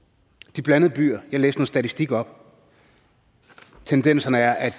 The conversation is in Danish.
de blandede byer jeg læste noget statistik op og tendensen er at